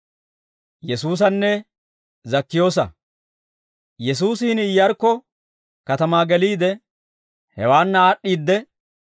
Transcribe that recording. Yesuusi hini Iyyarkko katamaa geliide, hewaanna aad'd'i de'ee.